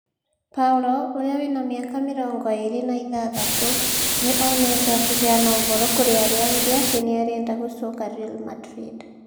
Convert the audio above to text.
Paul, ũria wĩna miaka mĩrongo ĩrĩ na ithathatu, nĩ onetwo akĩheana ũhoro kũrĩ arĩa angĩ atĩ nĩ arenda gũcoka Real Madrid.